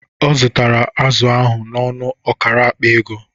Ọ zụtara azụ ahụ n'ọnụ ọkara akpa ego